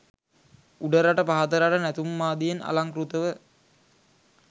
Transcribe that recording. උඩරට පහතරට නැටුම් ආදියෙන් අලංකෘතව